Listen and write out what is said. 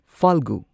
ꯐꯥꯜꯒꯨ